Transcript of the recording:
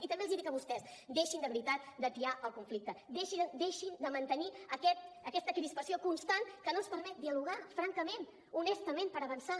i també els dic a vostès deixin de veritat d’atiar el conflicte deixin de mantenir aquesta crispació constant que no ens permet dialogar francament honestament per avançar